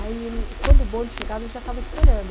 Aí ele, quando o bonde chegava, ele já estava esperando.